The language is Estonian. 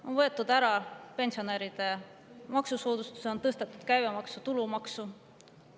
On ära võetud pensionäride maksusoodustus, on tõstetud käibemaksu ja tulumaksu.